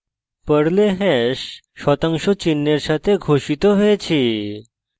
পর্লে hash শতাংশ চিহ্ন এর সাথে ঘোষিত হয়েছে